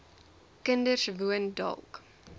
kinders woon dalk